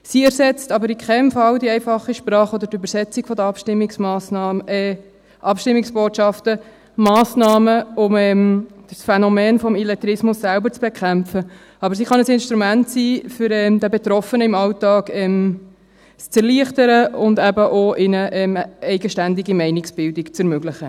Sie ersetzt aber in keinem Fall die einfache Sprache oder die Übersetzung der Abstimmungsbotschaften, Massnahmen, um das Phänomen des Illettrismus selbst zu bekämpfen, aber sie kann ein Instrument sein, um es den Betroffenen im Alltag zu erleichtern und um ihnen eben auch eine eigenständige Meinungsbildung zu ermöglichen.